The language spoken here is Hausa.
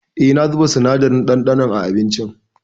Eh, na zuba sinadarin ɗanɗanon a abincin.